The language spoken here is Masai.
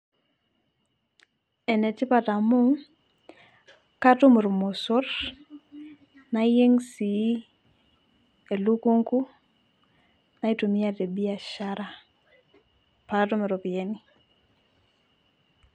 enetipat amukatum ilmosor nayieng sii elukunku naitumia te biashara pee atum iropyiani.